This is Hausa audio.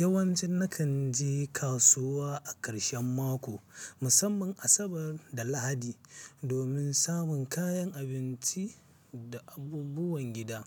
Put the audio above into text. Yawanci na kan je kasuwa a ƙarshen mako, musamman Asabar da Lahadi, domin samun kayan abinci da abubuwan gida.